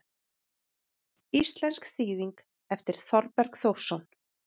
Íslensk þýðing eftir Þorberg Þórsson.